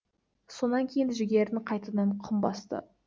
сонан кейін жігерін қайтадан құм басты